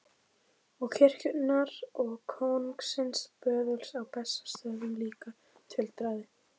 Og kirkjunnar og kóngsins böðuls á Bessastöðum líka, tuldraði